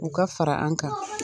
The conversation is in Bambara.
U ka fara an kan